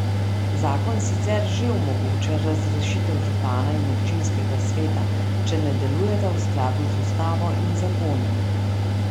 Zakon sicer že omogoča razrešitev župana in občinskega sveta, če ne delujeta v skladu z ustavo in zakoni.